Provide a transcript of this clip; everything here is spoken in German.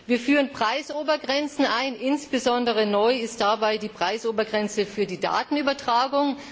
Wir führen Preisobergrenzen ein, insbesondere neu ist dabei die Preisobergrenze für die Datenübertragung.